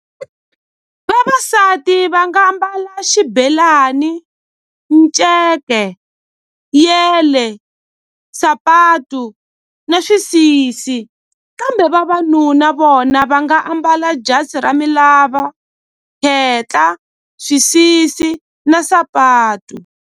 Vavasati va nga ambala xibelani nceke yele sapatu na xisisi kambe vavanuna vona va nga ambala jasi ra milava khetla swisisi na sapatu.